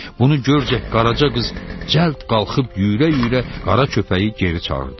Bunu görcək Qaraca qız cəld qalxıb yürə-yürə qara köpəyi geri çağırdı.